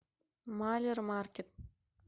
малермаркет